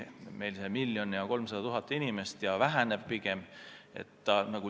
Meil on miljon ja 300 000 inimest ja see arv pigem väheneb.